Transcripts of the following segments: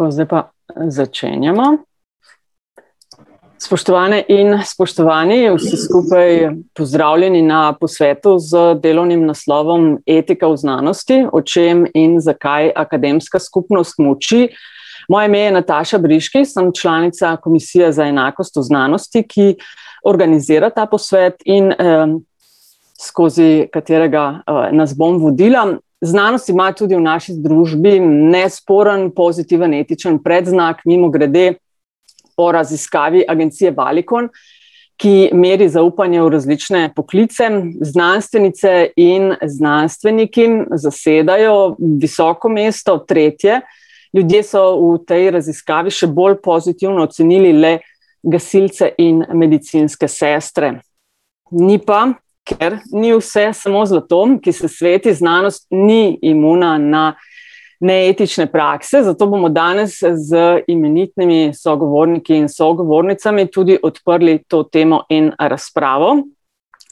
Tako, zdaj pa, začenjamo. Spoštovane in spoštovani, vsi skupaj, pozdravljeni na posvetu z delovnim naslovom Etika v znanosti: O čem in zakaj akademska skupnost molči. Moje ime je Nataša Briški, sem članica komisije za enakost v znanosti, ki organizira ta posvet in, skozi katerega, nas bom vodila. Znanost ima tudi v naši družbi nesporen, pozitiven, etičen predznak. Mimogrede, po raziskavi agencije Valicon ki meri zaupanje v različne poklice, znanstvenice in znanstveniki zasedajo visoko mesto, tretje, ljudje so v tej raziskavi še bolj pozitivno ocenili le gasilce in medicinske sestre. Ni pa, ker ni vse samo zlato, ki se sveti, znanost ni imuna na neetične prakse, zato bomo danes z imenitnimi sogovorniki in sogovornicami tudi odprli to temo in razpravo.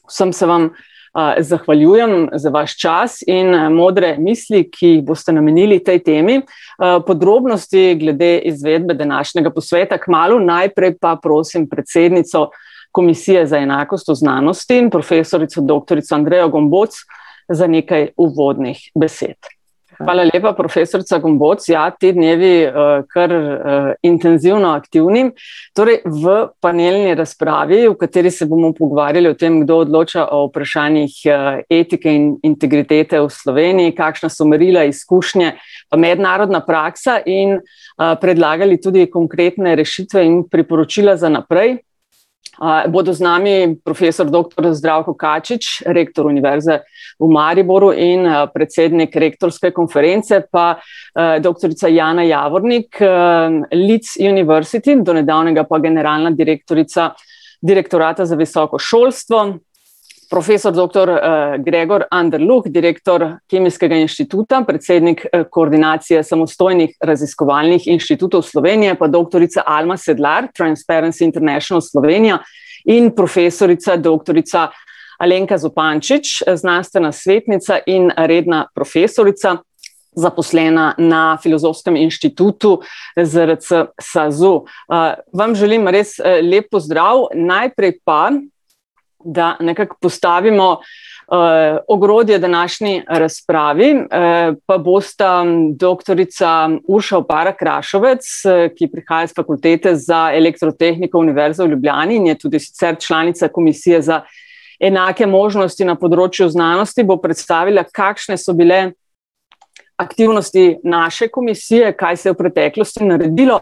Vsem se vam, zahvaljujem za vaš čas in, modre misli, ki jih boste namenili tej temi. podrobnosti glede izvedbe današnjega posveta kmalu, najprej pa prosim predsednico Komisije za enakost v znanosti, profesorico doktorico Andrejo Gomboc, za nekaj uvodnih besed. Hvala lepa, profesorica Gomboc, ja, ti dnevi, kar, intenzivno aktivni, torej v panelni razpravi, v kateri se bomo pogovarjali o tem, kdo odloča o vprašanjih, etike in integritete v Sloveniji, kakšna so merila, izkušnje, mednarodna praksa, in, predlagali tudi konkretne rešitve in priporočila za naprej. bodo z nami profesor doktor Zdravko Kačič, rektor univerze v Mariboru in, predsednik rektorske konference, pa, doktorica Jana Javornik, Leeds University, do nedavnega pa generalna direktorica Direktorata za visoko šolstvo, profesor doktor, Gregor Anderluh, direktor Kemijskega inštituta, predsednik, Koordinacije samostojnih raziskovalnih inštitutov Slovenije, pa doktorica Alma Sedlar, Transparency International Slovenija, in profesorica doktorica Alenka Zupančič, znanstvena svetnica in redna profesorica, zaposlena na Filozofskem inštitutu ZRC SAZU. vam želim res, lep pozdrav, najprej pa, da nekako postavimo, ogrodje današnji razpravi, pa bosta doktorica Urša Opara Krašovec, ki prihaja s Fakultete za elektrotehniko Univerze v Ljubljani in je tudi sicer članica Komisije za enake možnosti na področju znanosti, bo predstavila, kakšne so bile aktivnosti naše komisije, kaj se je v preteklosti naredilo.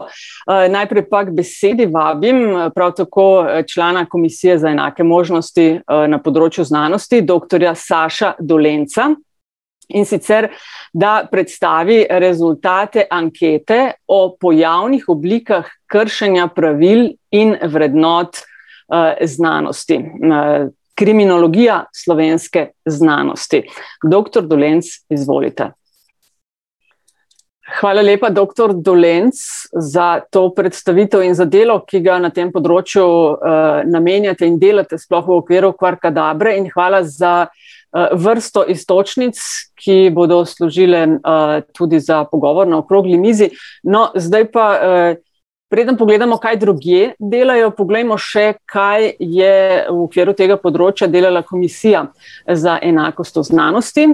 najprej pa k besedi vabim prav tako, člana Komisije za enake možnosti, na področju znanosti, doktorja Saša Dolenca, in sicer, da predstavi rezultate ankete o pojavnih oblikah kršenja pravil in vrednot, znanosti na ... Kriminologija slovenske znanosti. Doktor Dolenc, izvolita. Hvala lepa, doktor Dolenc, za to predstavitev in za delo, ki ga na tem področju, namenjate in delate, sploh v okviru Kvarkadabre, in hvala za, vrsto iztočnic ki bodo služile, tudi za pogovor na okrogli mizi. No, zdaj pa, preden pogledamo, kaj drugje delajo, poglejmo še kaj je v okviru tega področja delala Komisija, za enakost v znanosti.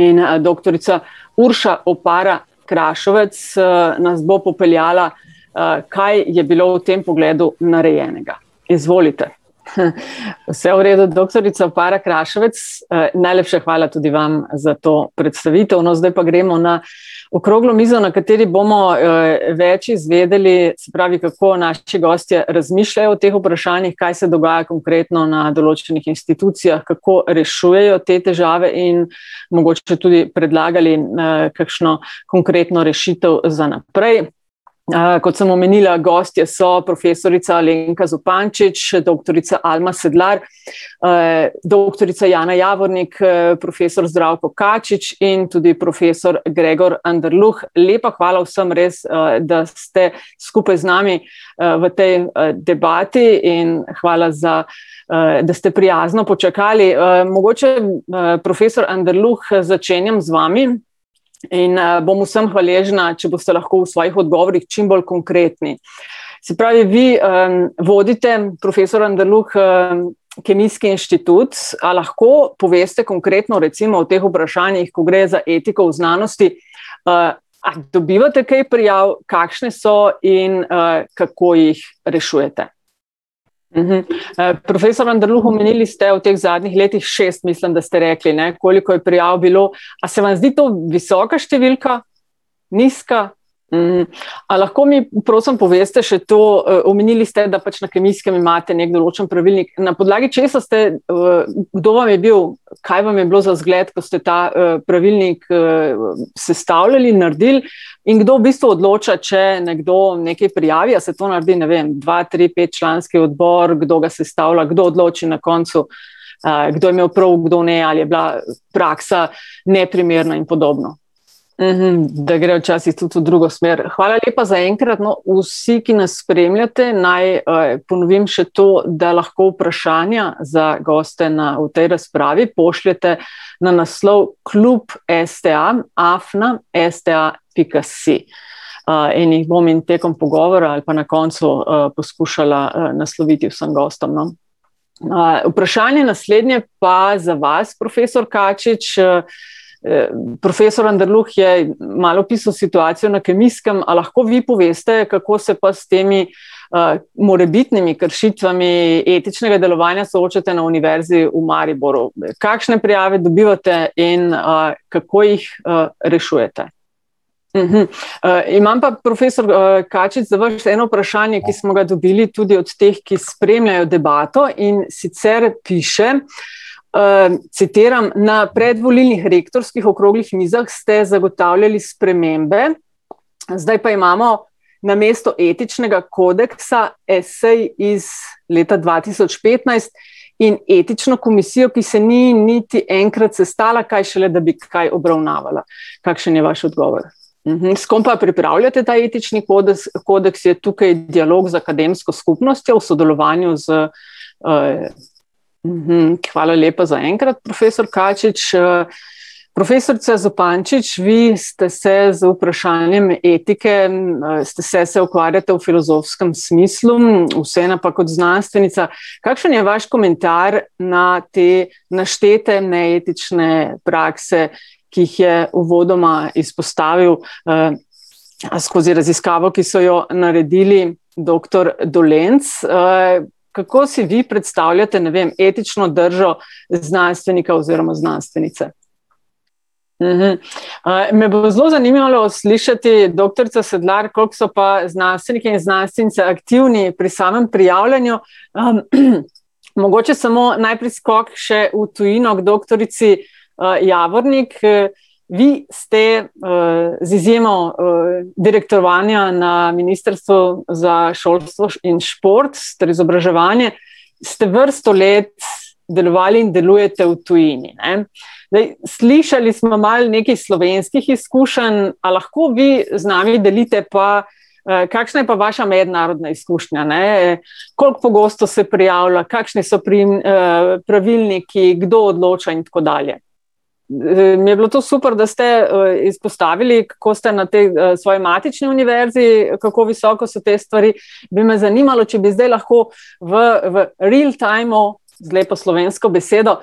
In, doktorica Urša Opara Krašovec, nas bo popeljala, kaj je bilo v tem pogledu narejenega. Izvolite. vse v redu, doktorica Opara Krašovec, najlepša hvala tudi vam za to predstavitev, no, zdaj pa gremo na okroglo mizo, na kateri bomo, več izvedeli se pravi, kako naši gostje razmišljajo o tem vprašanju, kaj se dogaja konkretno na določenih inštitucijah, kako rešujejo te težave in mogoče tudi predlagali na kakšno konkretno rešitev za naprej. kot sem omenila, gostje so profesorica Alenka Zupančič, doktorica Alma Sedlar, doktorica Jana Javornik, profesor Zdravko Kačič in tudi profesor Gregor Anderluh, lepa hvala vsem, res, da ste skupaj z nami, v tej, debati, in hvala za, da ste prijazno počakali, mogoče profesor Anderluh, začenjam z vami. In, bom vsem hvaležna, če boste lahko v svojih odgovorih čim bolj konkretni. Se pravi, vi, vodite, profesor Anderluh, Kemijski inštitut, a lahko poveste konkretno, recimo o teh vprašanjih, ko gre za etiko v znanosti, a dobivate kaj prijav, kakšne so in, kako jih rešujete? profesor Anderluh, omenili ste, v teh zadnjih letih, šest, mislim, da ste rekli, ne, koliko je prijav bilo, a se vam zdi to visoka številka? Nizka? A lahko mi prosim poveste še to, omenili ste, da pač na Kemijskem imate neki določen pravilnik, na podlagi česa ste, kdo vam je bil, kaj vam je bilo za zgled, ko ste ta, pravilnik, sestavljali, naredili, in kdo v bistvu odloča, če nekdo nekaj prijavi, a se to naredi, ne vem, dva-, tri-, petčlanski odbor, kdo ga sestavlja, kdo odloči na koncu. kdo je imel prav, kdo ne, ali je bila praksa neprimerna in podobno. da gre včasih tudi v drugo smer. Hvala lepa zaenkrat, no. Vsi, ki nas spremljate, naj, ponovim še to, da lahko vprašanja za goste na, v tej razpravi, pošljete na naslov klub sta afna sta pika si. in jih bom in tekom pogovora ali pa na koncu, poskušala, nasloviti vsem gostom, no. vprašanje naslednje pa za vas, profesor Kačič, profesor Andrluh je malo opisal situacijo na Kemijskem, a lahko vi poveste, kako se pa s temi, morebitnimi kršitvami etičnega delovanja soočate na Univerzi v Mariboru. kakšne prijave dobivate in, kako jih, rešujete? imam pa, profesor, Kačič, za vas eno vprašanje, ki smo ga dobili tudi od teh, ki spremljajo debato, in sicer piše, citiram: "Na predvolilnih rektorskih okroglih mizah ste zagotavljali spremembe. Zdaj pa imamo namesto etičnega kodeksa esej iz leta dva tisoč petnajst in etično komisijo, ki se ni niti enkrat sestala, kaj šele da bi kaj obravnavala." Kakšen je vaš odgovor? s kom pa pripravljate ta etični kodeks, je tukaj dialog z akademsko skupnostjo v sodelovanju z, ... Hvala lepa zaenkrat, profesor Kačič, Profesorica Zupančič, vi ste se z vprašanjem etike, ste se, se ukvarjate v filozofskem smislu, vseeno pa kot znanstvenica. Kakšen je vaš komentar na te naštete neetične prakse, ki jih je uvodoma izpostavil, skozi raziskavo, ki so jo naredili, doktor Dolenc, kako si vi predstavljate, ne vem, etično držo, znanstvenika oziroma znanstvenice? me bo zelo zanimalo slišati, doktorica Sedlar, koliko so pa znanstveniki in znanstvenice aktivni pri samem prijavljanju ... Mogoče samo najprej skok še v tujino k doktorici, Javornik, Vi ste, z izjemo, direktovanja na Ministrstvu za šolstvo in šport ter izobraževanje, ste vrsto let delovali in delujete v tujini, ne. Zdaj, slišali smo malo nekaj slovenskih izkušenj, a lahko vi z nami delite pa, kakšna je pa vaša mednarodna izkušnja, ne, koliko pogosto se prijavlja, kakšne so pravilniki, kdo odloča in tako dalje? mi je bilo to super, da ste, izpostavili, ko ste na tej, svoji matični univerzi, kako visoko so te stvari. Bi me zanimalo, če bi zdaj lahko v, v real timu, z lepo slovensko besedo,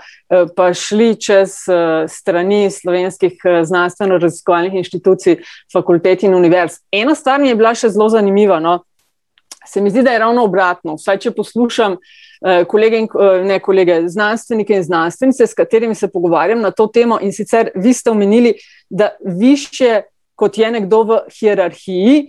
prišli čez, strani slovenskih znanstveno-raziskovalnih inštitucij, fakultet in univerz? Ena stvar mi je bila še zelo zanimiva, no, se mi zdi, da je ravno obratno, vsaj če poslušam, kolege in ne kolege, znanstvenike in znanstvenice, s katerimi se pogovarjam na to temo, in sicer vi ste omenili, da višje, kot je nekdo v hierarhiji,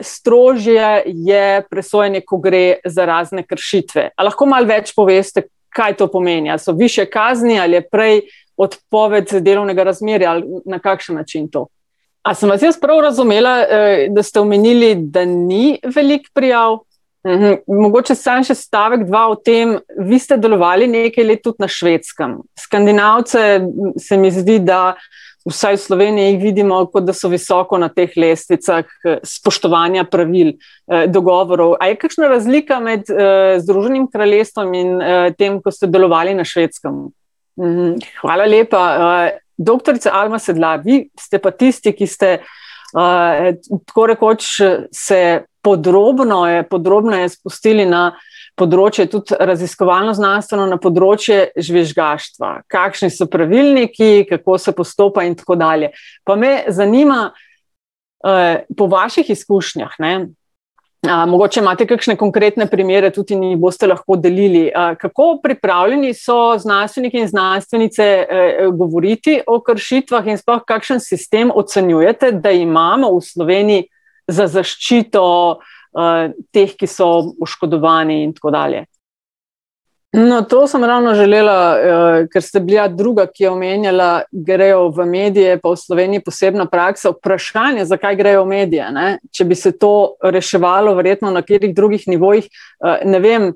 strožje je presojanje, ko gre za razne kršitve. A lahko malo več poveste, kaj to pomeni, a so višje kazni ali je prej odpoved delovnega razmerja ali na kakšen način to? A sem vas jaz prav razumela, da ste omenili, da ni veliko prijav? Mogoče samo še stavek, dva o tem, vi ste delovali nekaj let tudi na Švedskem. Skandinavce, se mi zdi, da vsaj v Sloveniji vidimo, kot da so visoko na teh lestvicah spoštovanja pravil, dogovorov. A je kakšna razlika med, Združenim kraljestvom in, tem, ko ste delovali na Švedskem? Hvala lepa. doktorca Alma Sedlar, vi ste pa tisti, ki ste, tako rekoč se podrobnoe, podrobneje spustili na področje tudi raziskovalno-znanstveno, na področje žvižgaštva. Kakšni so pravilniki, kako se postopa in tako dalje? Pa me zanima, po vaših izkušnjah, ne, a mogoče imate kakšne konkretne primere, tudi mi jih boste lahko delili. kako pripravljeni so znanstveniki in znanstvenice, govoriti o kršitvah in sploh kakšen sistem ocenjujete, da imamo v Sloveniji za zaščito, teh, ki so poškodovani in tako dalje? No, to sem ravno želela, ker ste bili, ja, druga, ki je omenjala, grejo v medije pa v Sloveniji posebno prakso, vprašanja, zakaj grejo v medije, ne. Če bi se to reševalo verjetno na katerih drugih nivojih, ne vem,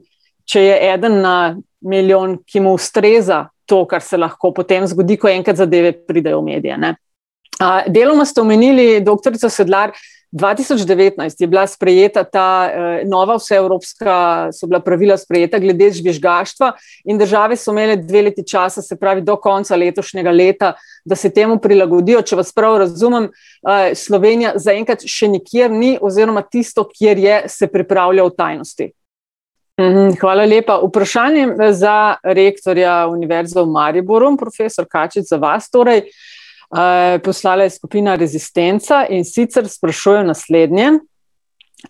če je eden na milijon, ki mu ustreza to, kar se lahko potem zgodi, ko enkrat zadeve pridejo v medije, ne. deloma ste omenili, doktorica Sedlar, dva tisoč devetnajst je bila sprejeta ta, nova vseevropska, so bila pravila sprejeta glede žvižgaštva. In države so imele dve leti časa, se pravi, do konca letošnjega leta, da se temu prilagodijo, če vas prav razumem, Slovenija zaenkrat še nikjer ni oziroma tisto, kjer je, se pripravlja v tajnosti. hvala lepa, vprašanje za rektorja Univerze v Mariboru, profesor Kačič, za vas, torej. poslala je skupina Rezistenca, in sicer sprašuje naslednje: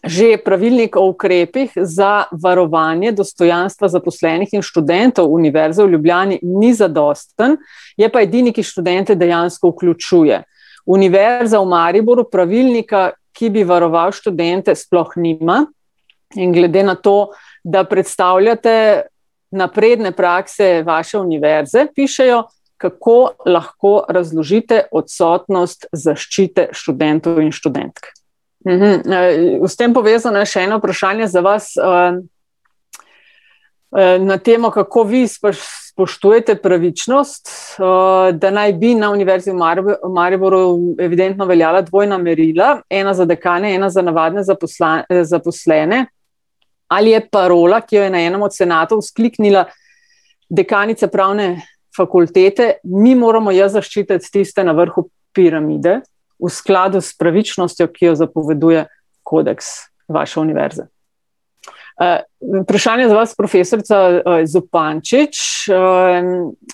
"Že pravilnik o ukrepih za varovanje dostojanstva zaposlenih in študentov Univerze v Ljubljani ni zadosten, je pa edini, ki študente dejansko vključuje. Univerza v Mariboru pravilnika, ki bi varoval študente, sploh nima in glede na to, da predstavljate napredne prakse vaše univerze," pišejo, "kako lahko razložite odsotnost zaščite študentov in študentk?" s tem povezano še eno vprašanje za vas, na temo, kako vi spoštujete pravičnost, da naj bi na Univerzi v v Mariboru evidentno veljala dvojna merila, ena za dekane, ena za navadne zaposlene. Ali je parola, ki jo je na enem od senatov vzkliknila dekanica pravne fakultete: "Mi moramo ja zaščititi tiste na vrhu piramide" v skladu s pravičnostjo, ki jo zapoveduje kodeks vaše univerze? vprašanje na vas, profesorica, Zupančič,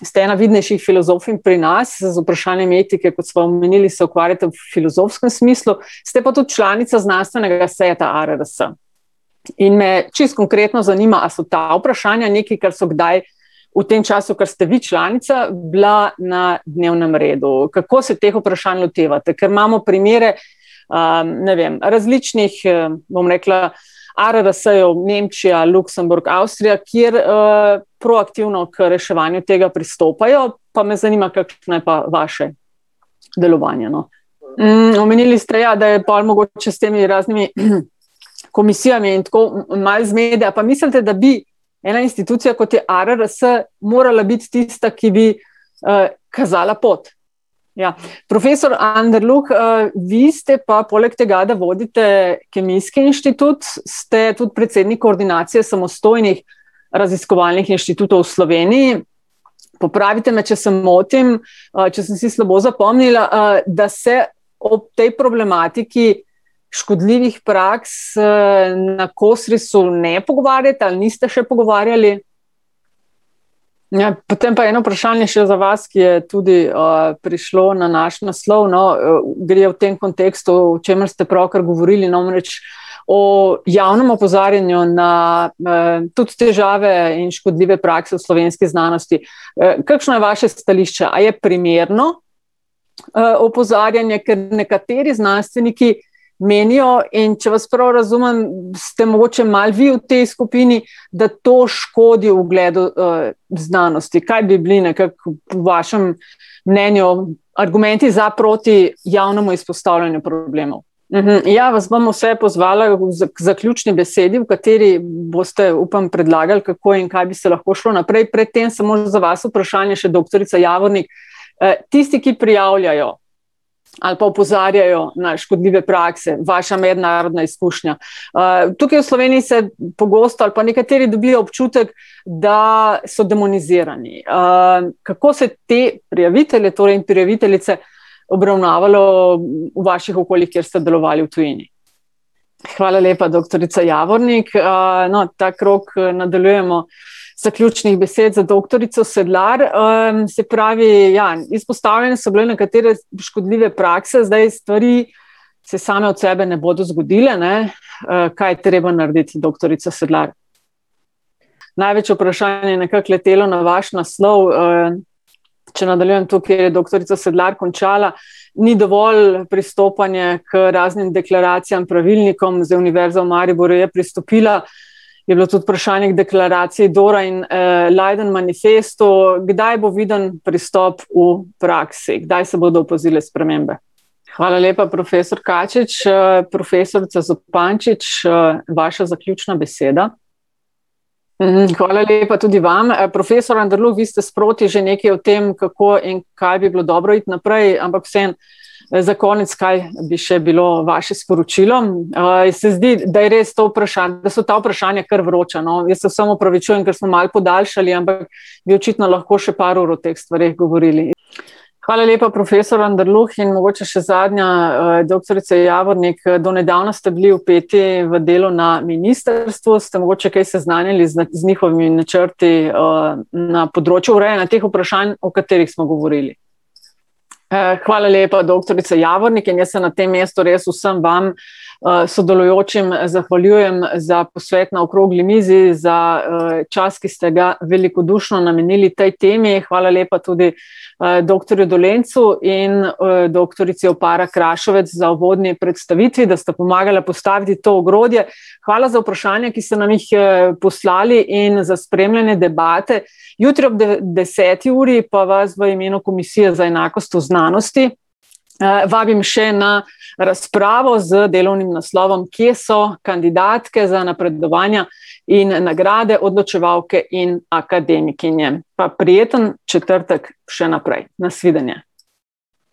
ste ena vidnejših filozofinj pri nas, z vprašanjem etike, kot sva omenili, se ukvarjate v filozofskem smislu, ste pa tudi članica znanstvenega sveta ARRS. In me čisto konkretno zanima, a so ta vprašanja nekaj, kar so kdaj v tem času, kar ste vi članica, bila na dnevnem redu, kako se teh vprašanj lotevate? Ker imamo primere, ne vem, različnih, bom rekla, ARRS-jev, Nemčija, Luksemburg, Avstrija, kjer, proaktivno k reševanju tega pristopajo. Pa me zanima, kakšno je pa vaše delovanje, no. omenili ste, ja, da je pol mogoče s temi raznimi, komisijami in tako malo zmede, a pa mislite, da bi ena institucija, kot je ARRS, morala biti tista, ki bi, kazala pot? Ja. Profesor Anderluh, vi ste pa poleg tega, da vodite Kemijski inštitut, ste tudi predsednik Koordinacije samostojnih raziskovalnih inštitutov v Sloveniji. Popravite me, če se motim, če sem si slabo zapomnila, da se ob tej problematiki škodljivih praks, na Kosrisu ne pogovarjate ali niste še pogovarjali? Ja, potem pa eno vprašanje še za vas, ki je tudi, prišlo na naš naslov, no, gre v tem kontekstu, o čemer ste pravkar govorili namreč, o javnem opozarjanju na, tudi težave in škodljive prakse v slovenski znanosti. kakšno je vaše stališče, a je primerno, opozarjanje, ker nekateri znanstveniki menijo, in če vas prav razumem, ste mogoče malo vi v tej skupini, da to škodi ugledu, znanosti. Kaj bi bili nekako po vašem mnenju argumenti za/proti javnemu izpostavljanju problemov? ja, vas bom vse pozvala v, k zaključni besedi, v kateri boste, upam, predlagali, kako in kaj bi se lahko šlo naprej, pred tem samo za vas vprašanje še, doktorica Javornik, tisti, ki prijavljajo ali pa opozarjajo na škodljive prakse, vaša mednarodna izkušnja. tukaj v Sloveniji se pogosto, ali pa nekateri dobijo občutek, da so demonizirani. kako se te prijavitelje torej in prijaviteljice obravnavalo v vaših okoljih, kjer ste delovali v tujini? Hvala lepa, doktorica Javornik, no, ta krog, nadaljujemo. Zaključnih besed za doktorico Sedlar, se pravi, ja, izpostavljene so bile nekatere škodljive prakse, zdaj stvari se same od sebe ne bodo zgodile, ne, kaj je treba narediti, doktorica Sedlar? Največje vprašanje je nekako letelo na vaš naslov, če nadaljujem to, kjer je doktorica Sedlar končala, ni dovolj pristopanje k raznim deklaracijam, pravilnikom, zdaj Univerza v Mariboru je pristopila, je bilo tudi vprašanje k deklaraciji Dora in, Leiden manifestu, kdaj bo viden pristop v praksi, kdaj se bodo opazile spremembe? Hvala lepa, profesor Kačič, profesorica Zupančič, vaša zaključna beseda. hvala lepa tudi vam, profesor Anderluh, vi ste sproti že nekaj o tem, kako in kaj bi bilo dobro iti naprej, ampak vseeno, za konec, kaj bi še bilo vaše sporočilo? se zdi, da je res to da so ta vprašanja kar vroča, no. Jaz se vsem opravičujem, ker smo malo podaljšali, ampak bi očitno lahko še par ur o teh stvareh govorili. Hvala lepa, profesor Anderluh, in mogoče še zadnja, doktorica Javornik, do nedavno ste bili vpeti v delu na ministrstvu, ste mogoče kaj seznanjeni z z njihovimi načrti, na področju urejanja teh vprašanj, o katerih smo govorili? hvala lepa, doktorica Javornik, in bi se na tem mestu res vsem vam, sodelujočim zahvaljujem za posvet na okrogli mizi, za, čas, ki ste ga velikodušno namenili tej temi, hvala lepa tudi, doktorju Dolencu in, doktorici Opara Krašovec za uvodni predstavitvi, da sta pomagala postaviti to ogrodje. Hvala za vprašanja, ki ste nam jih, poslali, in za spremljanje debate. Jutri ob deseti uri pa vas v imenu Komisije za enakost v znanosti, vabim še na razpravo z delovnim naslovom Kje so kandidatke za napredovanja in nagrade, odločevalke in akademikinje? Pa prijeten četrtek še naprej. Na svidenje.